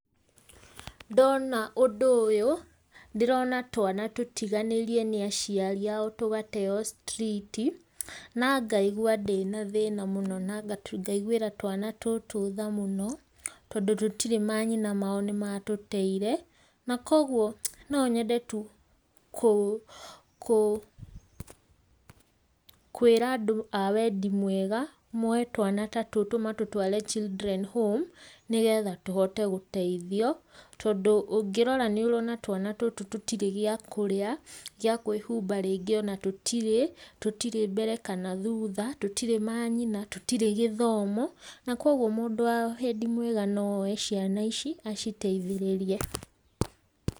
Ndona ũndũ ũyũ, ndĩrona twana tũtiganĩrie nĩ aciari ao tugateo citriti, na ngaigua ndĩna thĩna mũno na ngaiguira twana tũtũ tha mũno, tondũ tũtire manyina mao nĩ matũteire, na kogwo no nyende tu kũ kũ kwĩra andũ a wendi mwega, moe twana ta tũtũ matũtware children home, nĩgetha tũhote gũteithio, tondũ ũngĩrora nĩ ũrona twana tũtũ tũtirĩ gĩa kũrĩa, gĩa kwĩhumba rĩngĩ ona tũtirĩ, tũtirĩ mbere kana thutha, tũtirĩ manyina, tũtirĩ gĩthomo, na kogwo mũndũ wa wendi mwega no oe ciana ici, aciteithĩrĩrie.